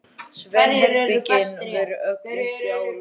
Svefnherbergin voru öll uppi á lofti.